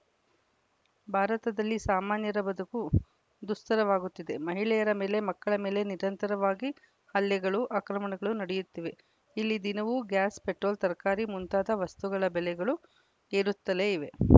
ಭಾರತದಲ್ಲಿ ಸಾಮಾನ್ಯರ ಬದುಕು ದುಸ್ತರವಾಗುತ್ತಿದೆ ಮಹಿಳೆಯರ ಮೇಲೆ ಮಕ್ಕಳ ಮೇಲೆ ನಿರಂತರವಾಗಿ ಹಲ್ಲೆಗಳು ಆಕ್ರಮಣಗಳು ನಡೆಯುತ್ತಿವೆ ಇಲ್ಲಿ ದಿನವೂ ಗ್ಯಾಸ್‌ ಪೆಟ್ರೋಲ್‌ ತರಕಾರಿ ಮುಂತಾದ ವಸ್ತುಗಳ ಬೆಲೆಗಳು ಏರುತ್ತಲೇ ಇವೆ